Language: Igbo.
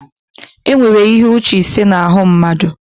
Enwere ihe uche ise na arụ mmadụ